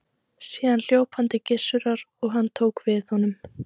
Síðan hljóp hann til Gissurar og tók hann við honum.